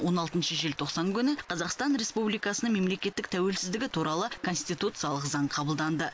он алтыншы желтоқсан күні қазақстан республикасының мемлекеттік тәуелсіздігі туралы конституциялық заң қабылданды